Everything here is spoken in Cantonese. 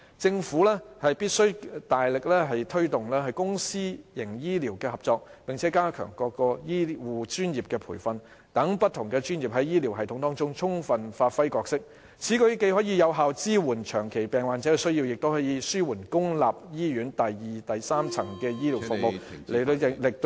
政府必須大力推動公私營醫療合作，並加強各醫護專業的培訓，讓不同專業在醫療系統中充分發揮角色，此舉既可有效支援長期病患者的需要，也可紓緩公立醫院第二及第三層醫療服務......